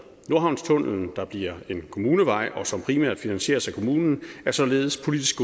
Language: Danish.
nordhavnstunnellen der bliver en kommunevej og som primært finansieres af kommunen er således politisk